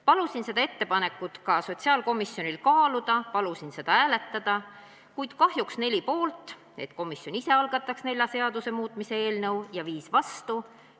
Palusin seda ettepanekut sotsiaalkomisjonil kaaluda, palusin seda hääletada, kuid 4 liiget olid selle poolt, et komisjon ise algataks nelja seaduse muutmise eelnõu, ja 5 olid kahjuks vastu.